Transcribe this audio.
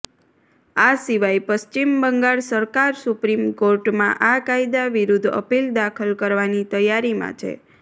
આ સિવાય પશ્ચિમ બંગાળ સરકાર સુપ્રીમ કોર્ટમાં આ કાયદા વિરુદ્ધ અપીલ દાખલ કરવાની તૈયારીમાં છે